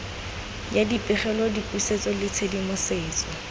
ya dipegelo dipusetso le tshedimosetso